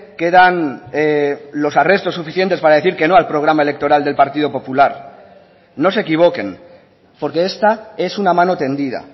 quedan los arrestos suficientes para decir que no al programa electoral del partido popular no se equivoquen porque esta es una mano tendida